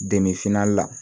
la